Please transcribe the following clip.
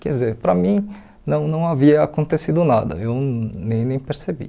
Quer dizer, para mim não não havia acontecido nada, eu nem nem percebi.